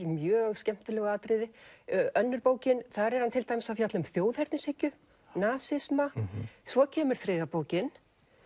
mjög skemmtilegu atriði önnur bókin þar er hann til dæmis að fjalla um þjóðernishyggju nasisma svo kemur þriðja bókin